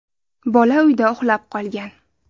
Bola uyda uxlab qolgan.